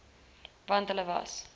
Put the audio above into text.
want hulle was